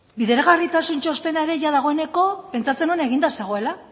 bideragarritasun txostena ere jada dagoeneko pentsatzen nuen eginda zegoela